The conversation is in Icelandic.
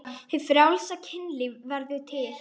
Hið frjálsa kynlíf verður til.